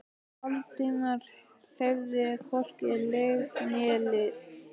Valdimar hreyfði hvorki legg né lið.